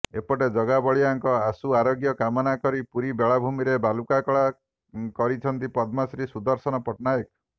ଏପଟେ ଜଗବାଳିଆଙ୍କ ଆଶୁ ଆରୋଗ୍ୟ କାମନା କରି ପୁରୀ ବେଳାଭୂମିରେ ବାଲୁକା କଳା କରିଛନ୍ତି ପଦ୍ମଶ୍ରୀ ସୁଦର୍ଶନ ପଟ୍ଟନାୟକ